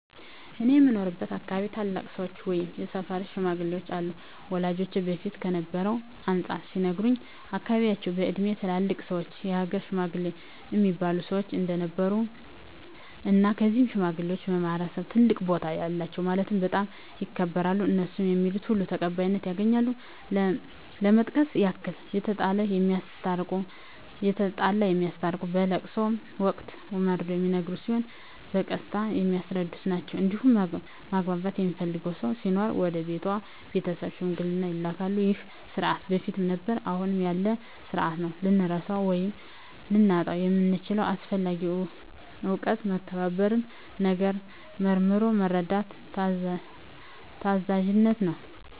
እኔ በምኖርበት አካባቢ ታላላቅ ሰዎች ወይም የሰፈር ሽማግሌዎች አሉ ወላጆቼ በፊት ከነበረው አንፃር ሲነግሩኝ በአካባቢያቸው በእድሜ ትላልቅ ሰዎች የሀገር ሽማግሌ እሚባሉ ሰዎች እንደነበሩ እና እነዚህ ሽማግሌዎች በማህበረሰቡ ትልቅ ቦታ አላቸው ማለትም በጣም ይከበራሉ እነሡ ሚሉት ሁሉ ተቀባይነት ያገኛል ለመጥቀስ ያክል የተጣላ የሚያስታርቁ በለቅሶ ወቅት መርዶ ሚነገር ሲሆን በቀስታ የሚያስረዱ ናቸዉ እንዲሁም ማግባት የሚፈልግ ሰው ሲኖር ወደ ሴቷ ቤተሰብ ሽምግልና ይላካሉ ይህ ስርዓት በፊትም ነበረ አሁንም ያለ ስርአት ነው። ልንረሳው ወይም ልናጣው የምንችለው አስፈላጊ እውቀት መከባበርን፣ ነገርን መርምሮ መረዳትን፣ ታዛዝነትን ነው።